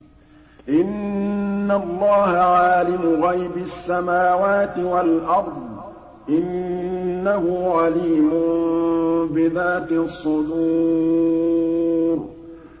إِنَّ اللَّهَ عَالِمُ غَيْبِ السَّمَاوَاتِ وَالْأَرْضِ ۚ إِنَّهُ عَلِيمٌ بِذَاتِ الصُّدُورِ